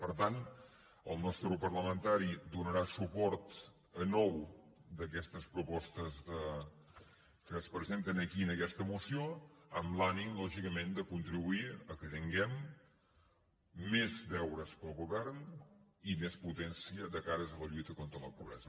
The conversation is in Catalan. per tant el nostre grup parlamentari donarà suport a nou d’aquestes propostes que es presenten aquí en aquesta moció amb l’ànim lògicament de contribuir que tinguem més deures per al govern i més potència de cares a la lluita contra la pobresa